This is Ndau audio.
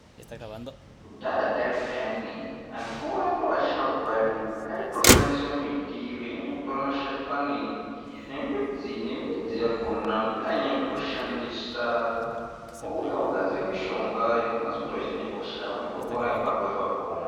Kudhaya dhaya peyani akuru edu asharukwa edu ayitoshandise miti, veinyanyotore mashakani nemidzi, nedzi yakhona ndoyevainye kutoshandisa ouya ogadzire mishonga inokwanise kuti unehosha weitopora ipapo ipapo